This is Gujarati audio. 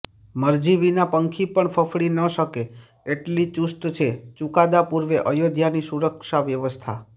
મરજી વિના પંખી પણ ફફડી ન શકે એટલી ચુસ્ત છે ચુકાદા પુર્વે અયોધ્યાની સુરક્ષા વ્યવસ્થા